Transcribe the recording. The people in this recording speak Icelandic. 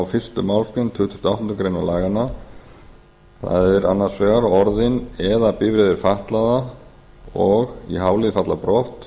fyrstu málsgrein tuttugustu og áttundu grein laganna það er annars vegar orðin eða bifreiðir fatlaðra og í h lið falla brott